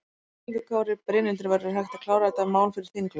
Höskuldur Kári: Brynhildur, verður hægt að klára þetta mál fyrir þinglok?